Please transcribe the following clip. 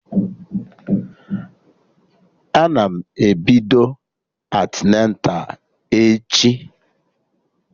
Ana m ebido antịneta echi